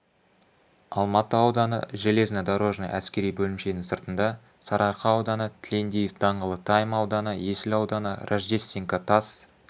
алматы ауданы железнодорожный әскери бөлімшенің сыртында сарыарқа ауданы тілендиев даңғылы тайм ауданы есіл ауданы рождественка тас